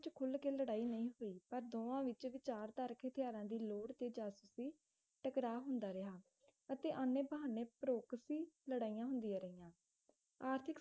ਖੁਲ ਕੇ ਲੜਾਈ ਨਹੀਂ ਹੋਈ ਪਰ ਦੋਵਾਂ ਵਿੱਚ ਵਿਚਾਰਧਾਰਕ ਹਥਿਆਰਾਂ ਦੀ ਲੋੜ ਤੇ ਜਾਸੂਸੀ ਟਕਰਾਅ ਹੁੰਦਾ ਰਿਹਾ ਅਤੇ ਆਨੇ-ਬਹਾਨੇ ਪ੍ਰੋਕਸੀ ਲੜਾਈਆਂ ਹੁੰਦੀਆਂ ਰਹੀਆਂ ਆਰਥਿਕ